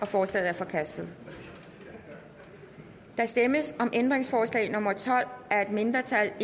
forslaget er forkastet der stemmes om ændringsforslag nummer tolv af et mindretal